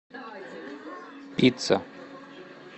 пицца